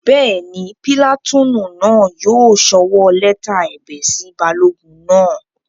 Bẹ́ẹ̀ni, pìlàtúùnù náà yóò sọwọ́ lẹ́tà ẹ̀bẹ̀ sí balógun náà